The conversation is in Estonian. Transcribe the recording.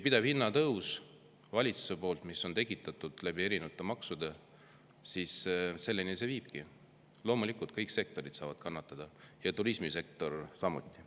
Pidev hinnatõus valitsuse poolt, mis on tekitatud erinevate maksudega, viibki selleni, et kõik sektorid saavad kannatada ja turismisektor samuti.